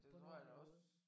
På en ordenlig måde